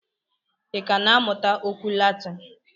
I ka na-amụta okwu Latin?